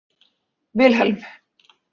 Vilhelm